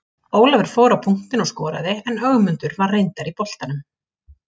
Ólafur fór á punktinn og skoraði en Ögmundur var reyndar í boltanum.